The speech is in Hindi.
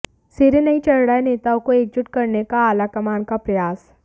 सिरे नहीं चढ़ रहा है नेताओं को एकजुट करने का आलाकमान का प्रयास